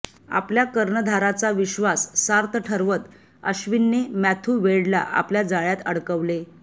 आपल्या कर्णधाराचा विश्वास सार्थ ठरवत अश्विनने मॅथ्यू वेडला आपल्या जाळ्यात अडकवले